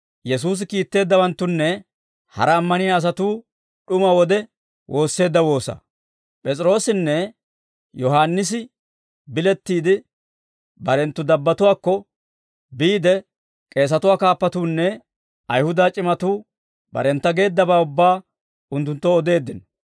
P'es'iroossinne Yohaannisi bilettiide, barenttu dabbatuwaakko biide, k'eesatuwaa kaappatuunne Ayihuda c'imatuu barentta geeddabaa ubbaa unttunttoo odeeddino.